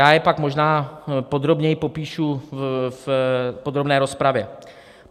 Já je pak možná podrobněji popíšu v podrobné rozpravě.